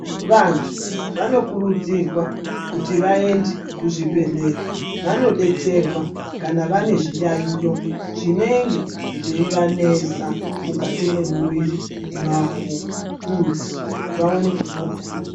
Vantu vanokurudzirwa kuti vaende kuzvibhedhlera. Vanobetserwa kana vane zviyaiyo zvinenge zveivanesa mukati mwemuviri mwavo kuti vaone kupona.